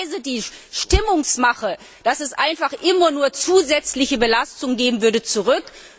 Ich weise die Stimmungsmache, dass es einfach immer nur zusätzliche Belastungen geben würde, zurück.